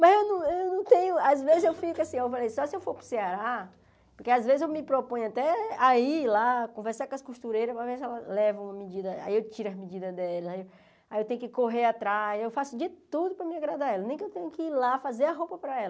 Mas eu não eu não tenho, às vezes eu fico assim, eu falei, só se eu for para o Ceará, porque às vezes eu me proponho até a ir lá, conversar com as costureiras, para ver se elas levam uma medida, aí eu tiro as medidas delas, aí eu tenho que correr atrás, eu faço de tudo para mim agradar elas, nem que eu tenha que ir lá fazer a roupa para elas.